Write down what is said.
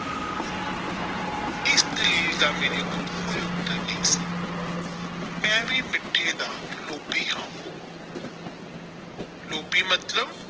ਇਸ ਦਾ ਮੇਰੇ ਕੋਲ ਕੋਈ ਉੱਤਰ ਨਹੀਂ ਸੀ ਮੈਂ ਵੀ ਮਿੱਠੇ ਦਾ ਲੋਭੀ ਹਾਂ ਲੋਭੀ ਮਤਲਬ।